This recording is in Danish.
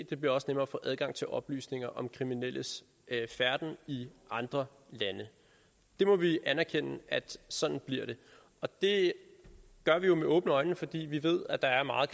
det bliver også nemmere at få adgang til oplysninger om kriminelles færden i andre lande vi må anerkende at sådan bliver det det gør vi jo med åbne øjne fordi vi ved at der er meget